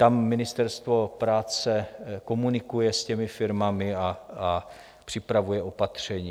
Tam Ministerstvo práce komunikuje s těmi firmami a připravuje opatření.